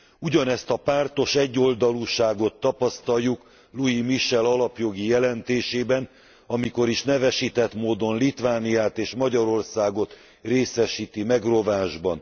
Ugyanezt a pártos egyoldalúságot tapasztaljuk Luis Michel alapjogi jelentésében, amikor is nevesített módon Litvániát és Magyarországot részesíti megrovásban.